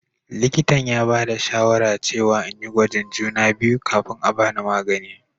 Likintan ya bada shawara cewa n'yi gwajin juna biyu kafin a'bani magani.